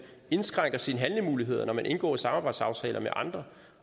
indskrænker sine handlemuligheder når man indgår samarbejdsaftaler med andre